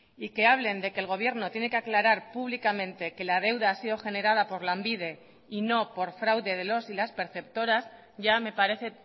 y que hablen de que el gobierno tiene que aclarar públicamente que la deuda ha sido generada por lanbide y no por fraude de los y las perceptoras ya me parece